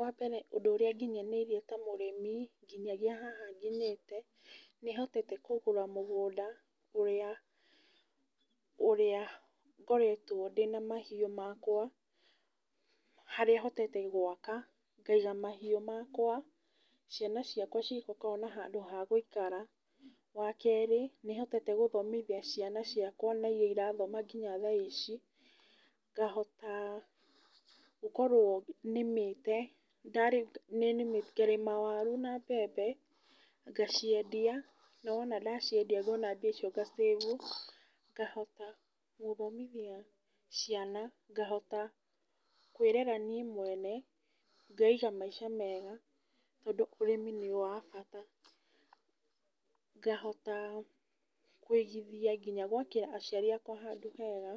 Wa mbere ũndũ ũrĩa nginyanĩirie ta mũrĩmi nginya haha nginyĩte, nĩ hotete kũgũra mũgũnda ũrĩa, ũrĩa ngoretwo ndĩna mahiũ makwa, harĩa hotete gwaka ngaiga mahiũ makwa ciana ciakwa cikona handũ hagũikara. Wa kere nĩ hotete gũthomithia ciana ciakwa ona irĩa irathoma nginya thaici, ngahota gũkorwo nĩmĩte, ngarĩma waru na mbembe, ngaciendia, na wona ndaciendia mbeca icio ngacĩbu. Ngahota gũthomithia ciana, ngahota kwĩrera niĩ mwene, ngeiga maica mega tondũ ũrĩmi nĩ wa bata. Ngahota kũigithia nginya ngahota gwakĩra aciari akwa handũ hega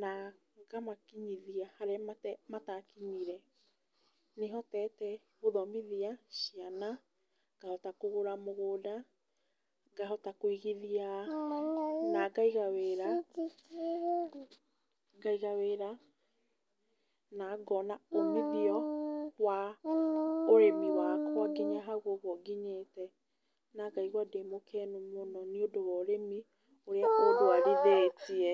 na ngamakinyithia handũ harĩa matakinyire. Nĩ hotete gũthomithia ciana, ngahota kũgũra mũgũnda, ngahota kwĩigithia na ngaiga wĩra, ngaiga wĩra, na ngona umithio wa ũrĩmi wakwa nginya hau ũguo nginyĩte na ngaigua ndĩ mũkenu mũno nĩ ũndũ wa ũrĩmi ũrĩa ũndwarithĩtie.